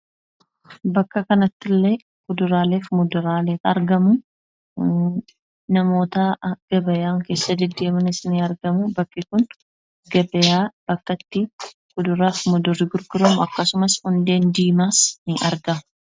Bakka kanatti kuduraalee fi muduraaleetu argamu. Namoonni keessa deddeemani kuduraalee fi muduraalee kana i'ilaalan ni argamu. Bakki kunis gabaa bakka kuduraalee fi muduraaleen itti gurguramudha jechuudha.